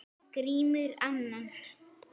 Grímur annan.